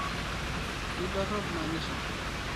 Keidorop manyisho